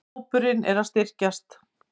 Hópurinn er að styrkjast.